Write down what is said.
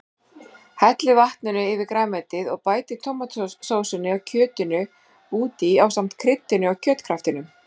Hellið vatninu yfir grænmetið og bætið tómatsósunni og kjötinu út í ásamt kryddinu og kjötkraftinum.